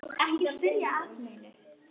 Ekki spyrja að neinu!